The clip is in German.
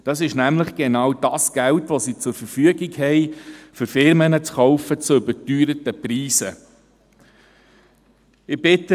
Das ist nämlich genau jenes Geld, das sie zur Verfügung hat, um Firmen zu überteuerten Preisen zu kaufen.